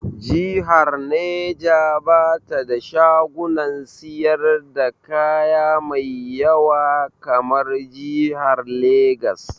Jihar Neja ba ta da shagunan siyar da kaya mai ƴawa kamar jihar Legas.